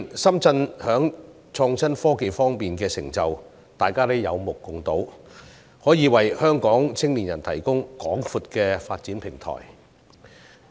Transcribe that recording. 深圳近年在創新科技方面的成就，大家都有目共睹，可以為香港青年人提供廣闊的發展平台。